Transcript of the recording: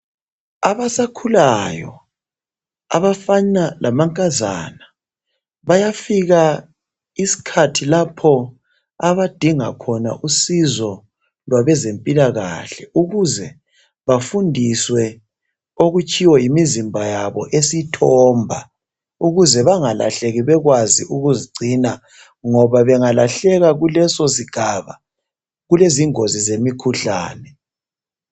Abasakhulayo, abafana lamankazana bayafika iskhathi lapho abadinga khona usizo labezempilakahle ukuze bafundiswe okutshiwo yimizimba yabo esithomba ukuze bengalahleki bakwazi ukuzigcina ngoba bangalahleka kuleso sigaba, kulezingozi zemikhuhlane.